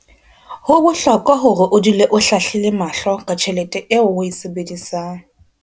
Ho bohlokwa hore o dule o hlahlile mahlo ka tjhelete eo o e sebedisang.